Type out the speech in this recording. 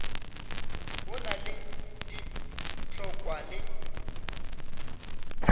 o na le ditlhokwa le